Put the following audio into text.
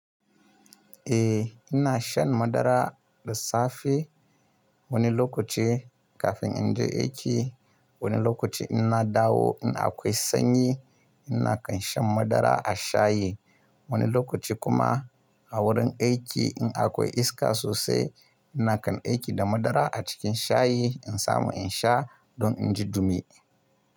Eh ina shan madara da safe wani lokaci kafin in je aiki. Wani lokaci in dawo in akwai sanyi ina kan shan madara a shayi. Wani lokaci kuma a wurin aiki in akwai iska sosai ina kan aiki da madara a cikin shayi in samu in sha don in ji dumi.